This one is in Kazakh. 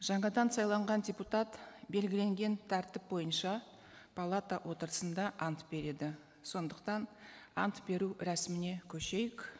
жаңадан сайланған депутат белгіленген тәртіп бойынша палата отырысында ант береді сондықтан ант беру рәсіміне көшейік